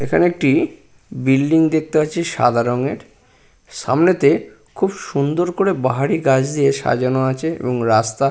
এখানে একটি বিল্ডিং দেখতে পাচ্ছি সাদা রঙের সামনেতে খুব সুন্দর করে বাহারি গাছ দিয়ে সাজানো আছে এবং রাস্তা --